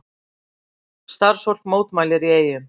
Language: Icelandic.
Starfsfólk mótmælir í Eyjum